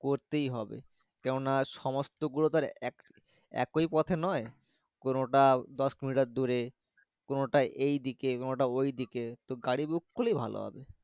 করতে হবে কেননা সমস্ত গুলো তো আর একই পথে নয় কোনটা দোষকিলোমিটার দূরে কোনটা এই দিকে কোনো টা ওই দিকে গাড়ি book করে ভালো হবে।